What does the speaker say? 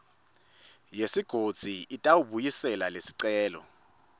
yesigodzi itawubuyisela lesicelo